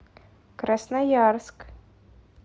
красноярск